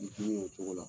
o cogo la